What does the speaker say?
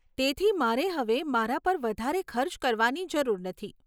તેથી, મારે હવે મારા પર વધારે ખર્ચ કરવાની જરૂર નથી.